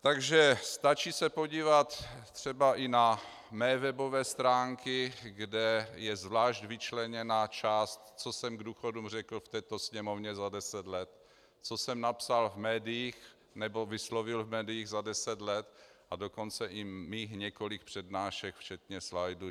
Takže stačí se podívat třeba i na mé webové stránky, kde je zvlášť vyčleněna část, co jsem k důchodům řekl v této sněmovně za deset let, co jsem napsal v médiích nebo vyslovil v médiích za deset let, a dokonce i mých několik přednášek, včetně slajdů.